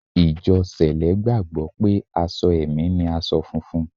Ìjọ Sẹ̀lẹ́ gbàgbọ́ pé aṣọ ẹ̀mí ni aṣọ funfun